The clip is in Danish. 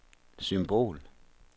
symbol